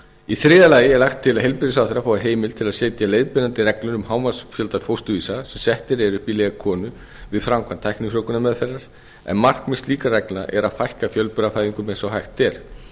í þriðja lagi er lagt til að heilbrigðisráðherra fái heimild til að setja leiðbeinandi reglur um hámarksfjölda fósturvísa sem settur eru upp í leg konu við framkvæmd tæknifrjóvgunarmeðferðar en markmið slíkra reglna er að fækka fjölburafæðingum eins og hægt er